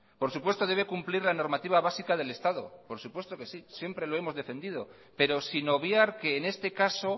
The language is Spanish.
por supuesto debe cumplir la normativa básica del estado por supuesto que sí siempre lo hemos defendido pero sin obviar que en este caso